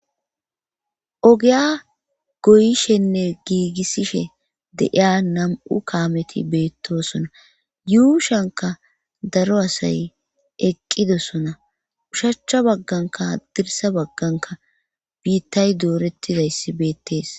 Ogiya goyishinne gigisishe de'yiya namu kaameti beetosona. Yuushuwankka daro asay eqqidosona. Ushacha bagankka hadirssa bagankka biitay dooretidayssi beetees.